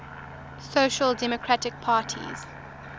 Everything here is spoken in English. social democratic parties